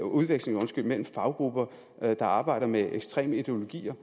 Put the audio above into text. udveksling mellem faggrupper der arbejder med ekstreme ideologier